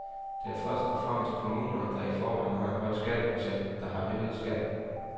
Det er først og fremmest kommuner, der i forvejen har en høj skatteprocent, der har øget skatten.